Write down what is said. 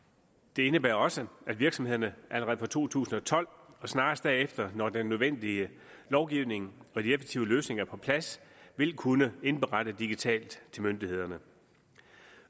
det indebærer også at virksomhederne allerede fra to tusind og tolv og snarest derefter når den nødvendige lovgivning og de effektive løsninger er på plads vil kunne indberette digitalt til myndighederne